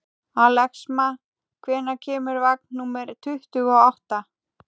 Axelma, hvenær kemur vagn númer tuttugu og átta?